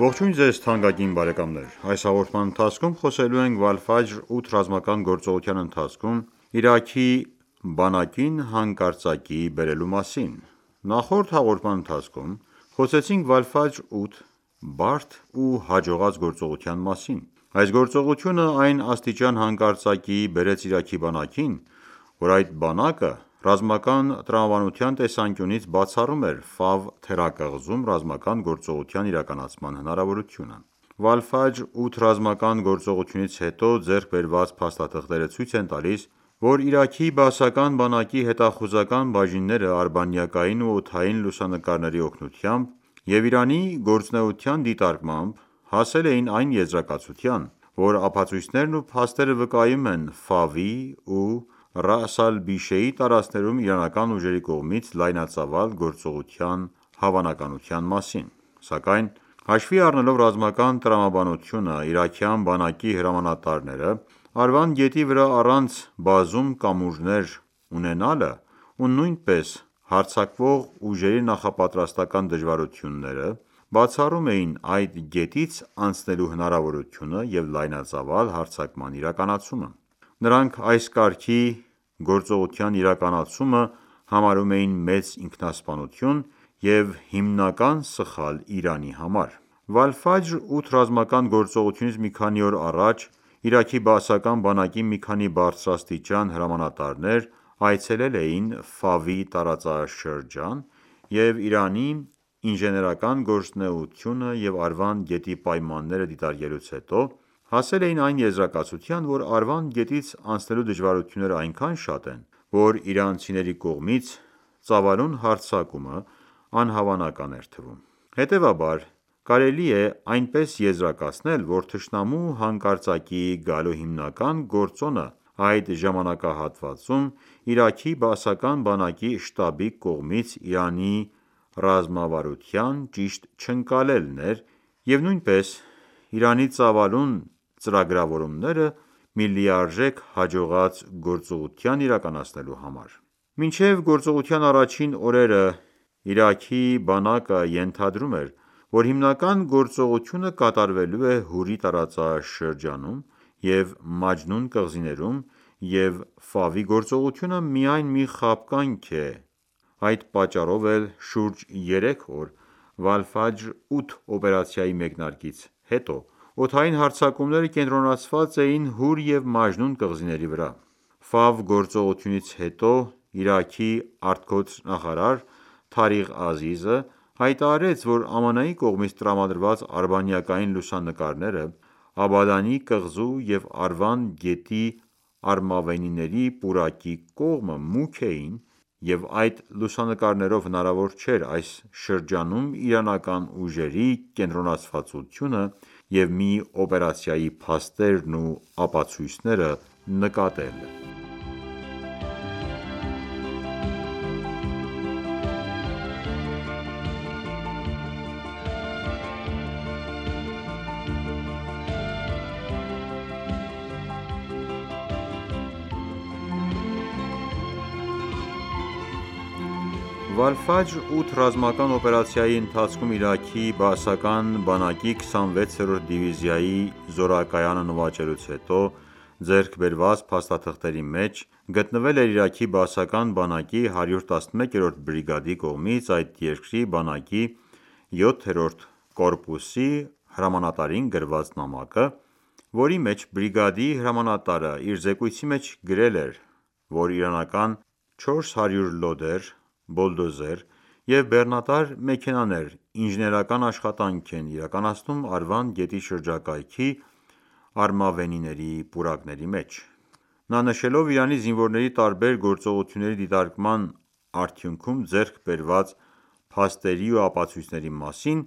Ողջույն ձեզ թանկագին բարեկամներ: Այս հաղորդման ընթացքում խոսելու ենք Վալֆաջր 8 ռազմական գործողության ընթացքում Իրաքի բանակին հանկարծակիի բերելու մասին: Նախորդ հաղորդման ընթացքում խոսեցինք Վալֆաջր 8 բարդ ու հաջողած գործողության մասին: Այս գործողությունը այն աստիճան հանկարծակիի բերեց Իրաքի բանակին, որ այդ բանակը ռազմական տրամաբանության տեսանկյունից բացառում էր թերակղզում ռազմական գործողություն իրականացման հնարավորությունը: Վալֆաջր 8 ռազմական գործողությունից հետո ձեռք բերված փաստաթղթերը ցույց են տալիս, որ Իրաքի բաասական բանակի հետախուզական բաժինները արբանյակային ու օդային լուսանկարների օգնությամբ և Իրանի գործունեության դիտարկմամբ հասել էին այն եզրակացության, որ ապացույցներն ու փաստերը վկայում են Ֆավի ու Ռաաս Ալ-Բիշեի տարածքներում իրանական ուժերի կողմից լայնածավալ գործողության հավանականության մասին: Սակայն հաշվի առնելով ռազմական տրամաբանությունը Իրաքյան բանակի հրամանատարները Արվանդ գետի վրա առանց բազում կամուրջներ ունենալը ու նույնպես հարձակվող ուժերի նախապատրաստական դժվարությունները բացառում էին այդ գետից անցնելու հնարավորությունը և լայնածավալ հարձակման իրականացումը: Նրանք այս կարգի գործողության իրականացումը համարում էին մեծ ինքնասպանություն և հիմնական սխալ Իրանի համար: Վալֆաջր 8 ռազմական գործողությունից մի քանի օր առաջ Իրաքի բաասական բանակի մի քանի բարձրաստիճան հրամանատարներ այցելել էին Ֆավի տարածաշրջան և Իրանի ինժեներական գործունեությունը և Արվանդ գետի պայմանները դիտարկելուց հետո հասել էին այն եզրակացության, որ Արվանդ գետից անցնելու դժվարությունները այնքան շատ են, որ իրանցիների կողմից ծավալուն հարձակումն անհավանական էր թվում: Հետևաբար կարելի է այնպես եզրակացնել, որ թշնամու հանկարծակիի գալու հիմնական գործոնը այդ ժամանակահատվածում Իրաքի բաասական բանակի շտաբի կողմից Իրանի ռազմավարության ճիշտ չընկալելն էր և նույնպես Իրանի ծավալուն ծրագրավորումները մի լիարժեք հաջողած գործողություն իրականացնելու համար: Մինչև գործողության առաջին օրերը Իրաքի բանակը ենթադրում էր, որ հիմնական գործողությունը կատարվելու է Հուրի տարածաշրջանում և Մաջնուն կղզիներում և գործողությունը միայն մի խաբկանք օպերացիա է: Այդ պատճառով էլ շուրջ երեք օր 8 օպերացիայի մեկնարկից հետո օդային հարձակումները կենտրոնացված էին Հուր և Մաջնուն կղզիների վրա: Ֆավ գործողությունից հետո Իրաքի ԱԳ նախարար Թարիղ Ազիզը հայտարարեց, որ ԱՄՆ-ի կողմից տրամադրված արբանյակային լուսանկարները Աբադանի կղզու և Արվանդ գետի արմավենիների պուրակի կողմը մուգ էին և այդ լուսանկարներով հնարավոր չէր այս շրջանում իրանական ուժերի կենտրոնացվածությունը և մի օպերացիայի փաստերն ու ապացույցները նկատել: Ֆավ տարածաշրջանի արբանյակային լուսանկարը Վալֆաջր 8 ռազմական օպերացիայի ընթացքում Իրաքի բաասական բանակի 26-րդ դիվիզիայի զորակայանը նվաճելուց հետո ձեռք բերված փաստաթղթերի մեջ գտնվել էր Իրաքի բաասական բանակի 111-րդ բրիգադի կողմից այդ երկրի բանակի 7-րդ կորպուսի հրամանատարին գրված նամակը, որի մեջ բրիգադի հրամանտարը իր զեկույցի մեջ գրել էր, որ իրանական 400 լոդեր, բոլդոզեր և բեռնատար մեքենաներ ինժեներական աշխատանքն են իրականացնում Արվանդ գետի շրջակայքի արմավենիների պուրակների մեջ: Նա նշելով Իրանի զինվորների տարբեր գործողությունների դիտարկման արդյունքում ձեռք բերված փաստերի ու ապացույցների մասին